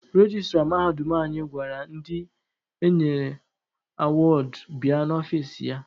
Rejistra mahadum anyị gwara ndị enyere awọọdụ bịa n'ọfici ya.